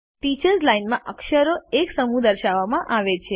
teachers line માં અક્ષરોનો એક સમૂહ દર્શાવવામાં આવે છે